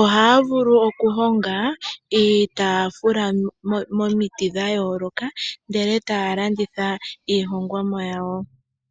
Ohaya vulu okuhonga iitaafula komiti dha yooloka ndele taya landitha iihongomwa yawo.